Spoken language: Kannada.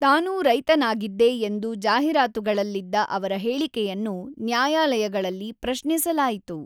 ತಾನೂ ರೈತನಾಗಿದ್ದೆ ಎಂದು ಜಾಹೀರಾತುಗಳಲ್ಲಿದ್ದ ಅವರ ಹೇಳಿಕೆಯನ್ನು ನ್ಯಾಯಾಲಯಗಳಲ್ಲಿ ಪ್ರಶ್ನಿಸಲಾಯಿತು.